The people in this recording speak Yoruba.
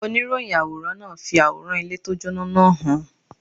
Oníròyìn àwòrán náà fi àwòrán ilé tí ó jóná náà hàn.